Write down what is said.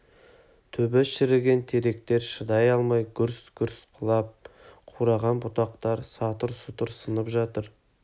түбі шіріген теректер шыдай алмай гүрс-гүрс құлап қураған бұтақтар сатыр-сұтыр сынып жатыр